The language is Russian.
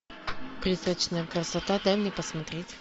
призрачная красота дай мне посмотреть